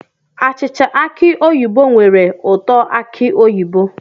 Achịcha aki oyibo nwere ụtọ aki oyibo